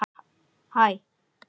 Og hvar er pabbi þinn?